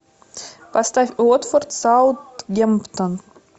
поставь уотфорд саутгемптон